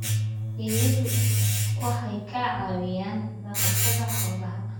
Eeyadu waxay ka caawiyaan dhaqashada xoolaha.